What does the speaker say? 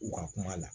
U ka kuma la